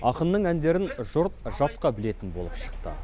ақынның әндерін жұрт жатқа білетін болып шықты